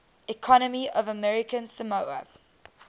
economy of american samoa